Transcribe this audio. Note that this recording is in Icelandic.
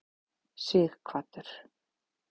Sighvatur